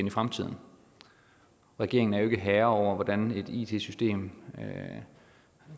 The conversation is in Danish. i fremtiden regeringen er jo ikke herre over hvordan et it system